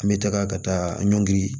An bɛ taga ka taa ɲɔngri